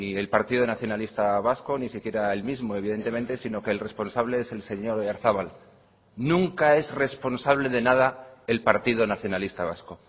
el partido nacionalista vasco ni siquiera él mismo evidentemente sino que el responsable es el señor oyarzabal nunca es responsable de nada el partido nacionalista vasco